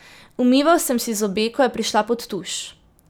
Umival sem si zobe, ko je prišla pod tuš.